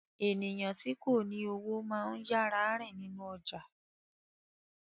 Eniyan ti ko ni owo maa ń yara rin ninu ọja